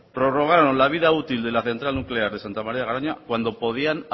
prorrogaron la vida útil de la central nuclear de santa maría de garoña cuando podían